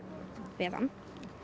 við hann